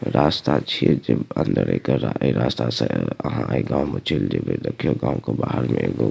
रास्ता छीये जे अंदर एकर ऐ रास्ता से आहां ए गांव में चल जइबे देखियों गांव के बाहर में एगो --